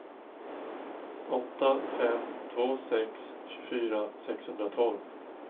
åtta fem två sex tjugofyra sexhundratolv